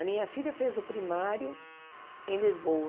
A minha filha fez o primário em Lisboa.